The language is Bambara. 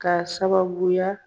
Ka sababuya